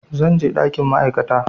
Zan je ɗakin ma'aikata